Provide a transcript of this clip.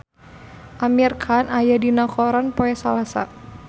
Amir Khan aya dina koran poe Salasa